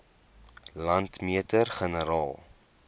landmeter generaal